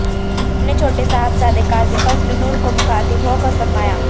اپنے چھوٹے صاحبزادے قاضی فضل نور کو مخاطب ہو کر فرمایا